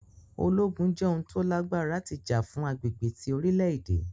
Ologun jẹ oun kan to lagbara ti ja fun agbegbe ti orilẹ-ede.